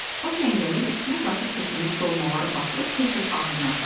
O çəngəli üstünə qatıq tökülmüş dolmaları batırıb tez-tez ağzına apardı.